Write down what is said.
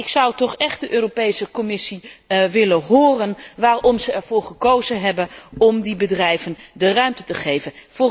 Ik zou toch echt de Europese Commissie willen horen waarom ze ervoor gekozen hebben om die bedrijven de ruimte te geven.